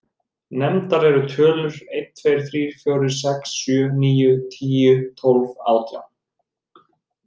Nefndar eru tölurnar einn, tveir, þrír, fjórir, sex, sjö, níu, tíu, tólf og átján.